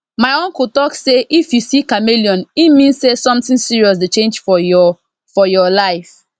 my uncle talk say if you see chameleon e mean say something serious dey change for your for your life